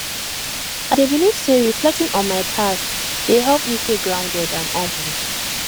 i dey believe say reflecting on my past dey help me stay grounded and humble